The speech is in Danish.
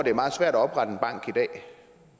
er meget svært